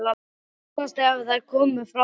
Að minnsta kosti ef þær komu frá okkur.